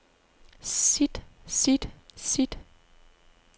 sit sit sit